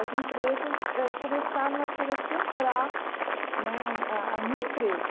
As empresas eh começaram a querer comprar né um a a minha empresa.